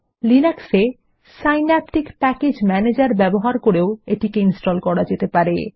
Linux এ Synaptic package ম্যানেজের ব্যবহার করেও এটি ইনস্টল করা যেতে পারে